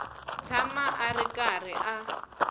tshama a ri karhi a